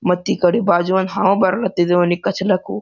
ಮತ್ ಈ ಕಡೆ ಬಾಜು ಒಂದ್ ಹಾವ್ ಬರುಲತಿದೆ ಅವ್ನಿಗ್ ಕಚ್ಲಕು.